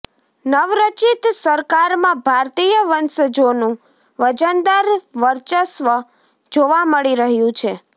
નવરચિત સરકારમાં ભારતીય વંશજોનું વજનદાર વર્ચસ જોવા મળી રહ્યું છે